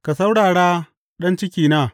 Ka saurara, ɗan cikina!